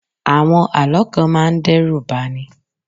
Àwọn Àlọ́ kan máa ń dẹ́rùbani.